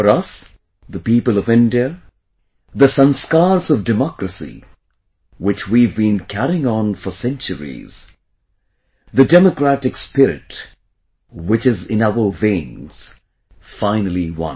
For us, the people of India, the sanskars of democracy which we have been carrying on for centuries; the democratic spirit which is in our veins, finally won